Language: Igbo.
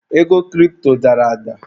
Ego kiripto dara ada.